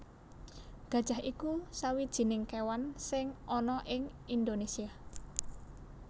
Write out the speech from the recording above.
Gajah iku sawijining kéwan sing ana ing Indonésia